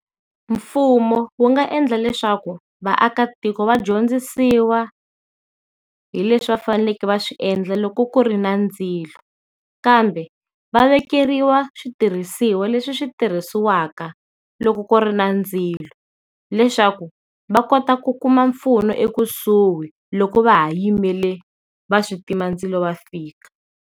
Mfumo wu nga endla leswaku vaakatiko va dyondzisiwa hi leswi va faneleke va swi endla loko ku ri na ndzilo, kambe va vekeriwa switirhisiwa leswi swi tirhisiwaka loko ku ri na ndzilo leswaku va kota ku kuma mpfuno ekusuhi loko va ha yimele va switimandzilo va fika.